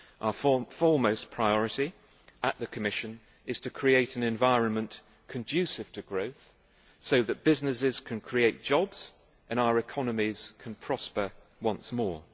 Our foremost priority at the Commission is to create an environment conducive to growth so that businesses can create jobs and our economies can prosper once more.